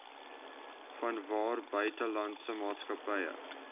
vanwaar buitelandse maatskappye